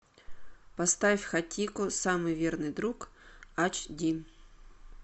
поставь хатико самый верный друг эйч ди